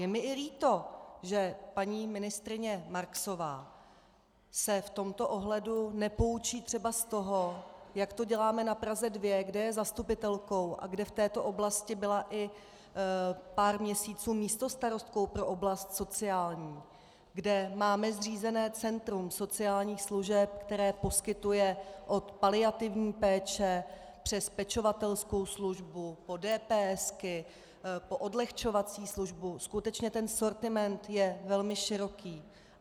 Je mi i líto, že paní ministryně Marksová se v tomto ohledu nepoučí třeba z toho, jak to děláme na Praze 2, kde je zastupitelkou a kde v této oblasti byla i pár měsíců místostarostkou pro oblast sociální, kde máme zřízené centrum sociálních služeb, které poskytuje od paliativní péče přes pečovatelskou službu po DPS, po odlehčovací službu, skutečně ten sortiment je velmi široký.